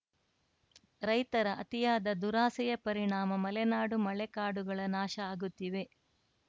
ರೈತರ ಅತಿಯಾದ ದುರಾಸೆಯ ಪರಿಣಾಮ ಮಲೆನಾಡು ಮಳೆ ಕಾಡುಗಳ ನಾಶ ಆಗುತ್ತಿವೆ